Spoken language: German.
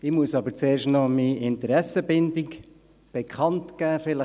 Ich muss zuerst noch meine Interessenbindung bekannt geben.